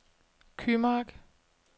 Kymark